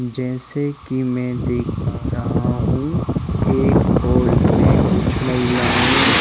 जैसे कि मैं देख पा रहा हूं एक हॉल में कुछ महिलाएं--